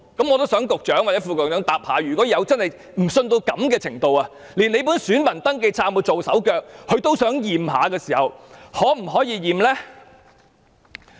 我想局長或副局長回答，如果市民不信任到這個程度，懷疑政府的選民登記冊有被"做手腳"而想檢查的時候，我們可否提出檢查呢？